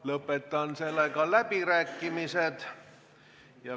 Lõpetan läbirääkimised.